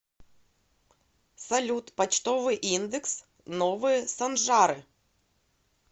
салют почтовый индекс новые санжары